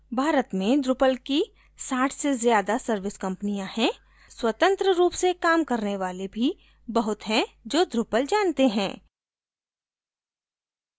भारत में drupal की 60 से ज़्यादा service कम्पनियाँ हैं स्वतंत्र रूप से काम करने वाले भी बहुत हैं जो drupal जानते हैं